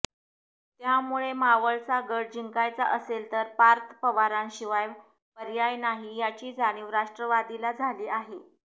त्यामुळे मावळचा गड जिंकायचा असेल तर पार्थ पवारांशिवाय पर्याय नाही याची जाणीव राष्ट्रवादीला झाली आहे